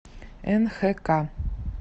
нхк